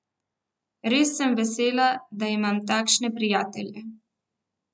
Res sem vesela, da imam takšne prijatelje!